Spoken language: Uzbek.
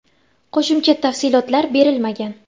Qo‘shimcha tafsilotlar berilmagan.